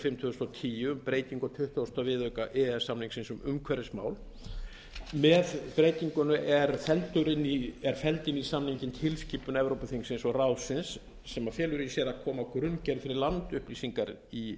fimm tvö þúsund og tíu um breytingu á tuttugasta viðauka e e s samningsins um umhverfismál með breytingunni er felld inn í samninginn tilskipun evrópuþingsins og ráðsins sem felur í sér að koma á grunngerð fyrir landupplýsingar í